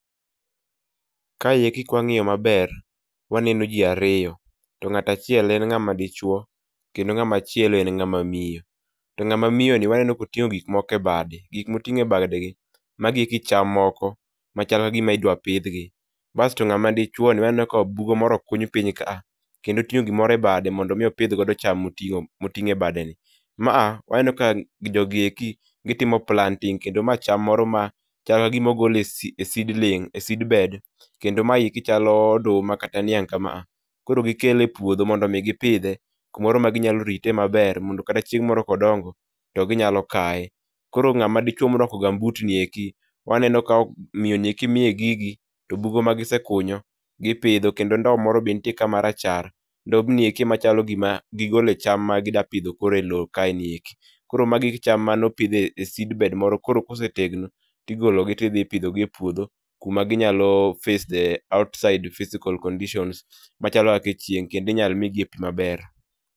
Kaeki kwangiyo maber waneno jii ariyo to ng'at achiel en ng'ama dichuo kendo ng'ama chielo en ng'ama miyo. To ng'ama miyo ni waneno ka oting'o gik moko e bade, gik moting'o e bade gi magi eki cham moko machal kagima idwa pidh gi, basto ng'ama chuo waneno ka bugo moro okuny piny ka kendo otingo gimoro e bade mondo mi opidh go cham motingo e bade ni. Ma waneno ka jogi eki gitimo planting kendo ma cham moro ma chal kagima ogol e seedling, e seedbed kendo ma chalo oduma kata niang' kama, Koro gikelo e puodho mondo gipidhe kamoro ma ginyalo rite maber mondo kata chieng' moro ka gidongo to ginyalo kaye. Koro ngama dichuo morwako gambut nieki waneno ka miyo ni miye gigi to bugo ma gisekunyo gipidho kendo ndo moro nitie marachar, ndobnieki ema chalo gima gigole cham ma gidwa pidho koro e loo kae nieki. Koro magi cham mane opidh e seedbed moro koro kosetegno tigolo gi tidhi ipidho gi e puodho kuma ginyalo face the outside physical conditions machalo kaka chieng' kendo inyal migi e pii maber